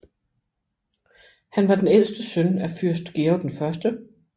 Han var den ældste søn af Fyrst Georg 1